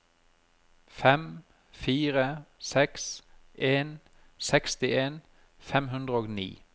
fem fire seks en sekstien fem hundre og ni